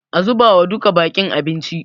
A zubawa duka baƙin abinci.